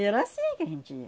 E era assim que a gente ia.